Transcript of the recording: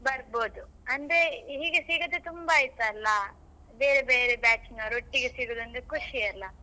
ಬರ್ಬೋದು ಅಂದ್ರೆ ಹೀಗೆ ಸಿಗದೇ ತುಂಬಾ ಆಯ್ತಲ್ಲ ಬೇರೆ ಬೇರೆ batch ನವರು ಒಟ್ಟಿಗೆ ಸೇರುದು ಅಂದ್ರೆ ಖುಷಿ ಅಲ್ಲಾ.